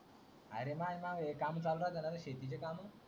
अरे माझा मागे काम चालू झाले ना शेतीचे कामा